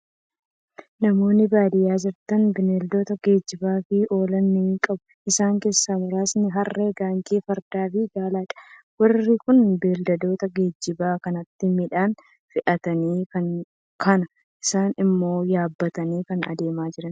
Namoonni baadiyyaa jiraatan bineeldota geejjibaaf oolan ni qabu. Isaan keessaa muraasni: harree, gaangee, fardaa fi gaaladha. Warri kun beeyladoota geejjibaa kanatti midhaan fe'atanii, kaan isaanii immoo yaabbataniu kan adeemaa jiranidha.